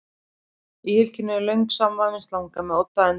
Í hylkinu er löng samanvafin slanga með odd á endanum sem ber í sér eitur.